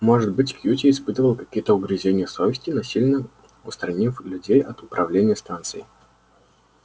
может быть кьюти испытывал какие-то угрызения совести насильно устранив людей от управления станцией